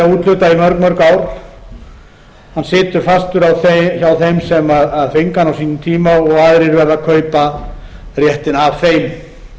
í mörg ár situr fastur hjá þeim sem fengu hann á sínum tíma og aðrir verða að kaupa réttinn hjá